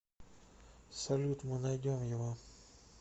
салют мы найдем его